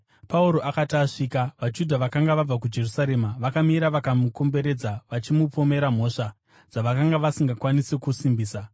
Pauro akati asvika, vaJudha vakanga vabva kuJerusarema vakamira vakamukomberedza, vachimupomera mhosva dzakaipisisa, dzavakanga vasingakwanisi kusimbisa.